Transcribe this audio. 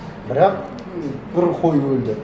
бірақ бір қой өлді